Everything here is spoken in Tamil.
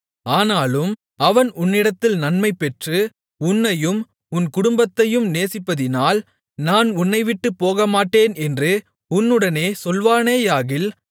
ஆனாலும் அவன் உன்னிடத்தில் நன்மைபெற்று உன்னையும் உன் குடும்பத்தையும் நேசிப்பதினால் நான் உன்னைவிட்டுப் போகமாட்டேன் என்று உன்னுடனே சொல்வானேயாகில்